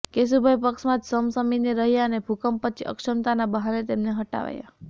કેશુભાઇ પક્ષમાં જ સમસમીને રહ્યાં અને ભૂકંપ પછી અક્ષમતાના બહાને તેમને હટાવાયા